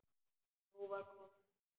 Nú var komið að því.